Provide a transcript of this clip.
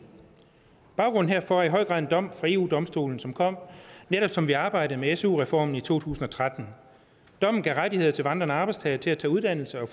baggrunden herfor er i høj grad en dom fra eu domstolen som kom netop som vi arbejdede med su reformen i to tusind og tretten dommen gav rettigheder til vandrende arbejdstagere til at tage uddannelse og